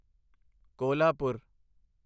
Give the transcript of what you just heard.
Kolhapur